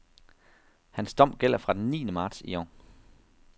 Hans dom gælder fra den niende marts i år.